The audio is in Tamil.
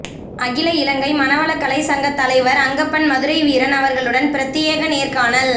அகில இலங்கை மனவளக்கலை சங்க தலைவர் அங்கப்பன் மதுரை வீரன் அவர்களுடன் பிரத்தியேக நேர்காணல்